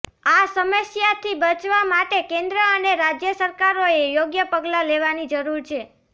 આ સમસ્યાથી બચવા માટે કેન્દ્ર અને રાજ્ય સરકારોએ યોગ્ય પગલા લેવાની જરૂર છે